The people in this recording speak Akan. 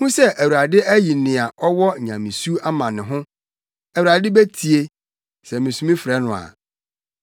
Hu sɛ Awurade ayi nea ɔwɔ nyamesu ama ne ho; Awurade betie, sɛ misu mefrɛ no a.